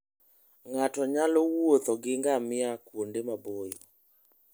Ng'ato nyalo wuotho gi ngamia kuonde maboyo.